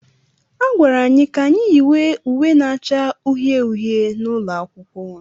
A gwara anyị ka anyị yiwe uwe na-acha uhie uhie n'ụlọ akwụkwọ.